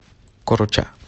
короча